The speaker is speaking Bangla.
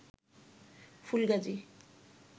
ফুলগাজী